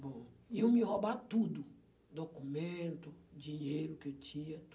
Bom, iam me roubar tudo, documento, dinheiro que eu tinha,